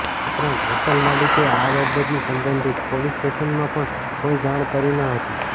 ઉપરાંત હોટલ માલિકે આ બાબતની સબંધિત પોલીસ સ્ટેશનમાં પણ કોઇ જાણ કરી ન હતી